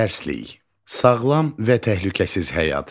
Dərslik: Sağlam və təhlükəsiz həyat.